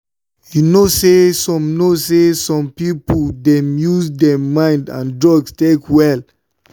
you know say some know say some people dey use mind and drugs take well.